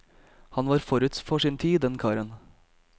Han var forut for sin tid, den karen.